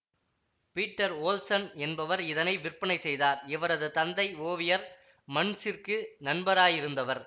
Peter Olsen என்பவர் இதனை விற்பனை செய்தார் இவரது தந்தை ஓவியர் மண்ச்சிற்கு நண்பராயிருந்தவர்